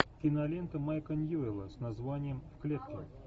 кинолента майка ньюэлла с названием в клетке